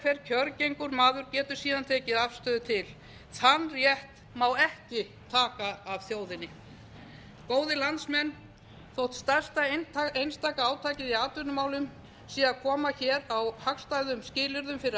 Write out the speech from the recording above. sérhver kjörgengur maður getur síðan tekið afstöðu til þann rétt má ekki taka af þjóðinni góðir landsmenn þótt stærsta einstaka átakið í atvinnumálum sé að koma hér á hagstæðum skilyrðum fyrir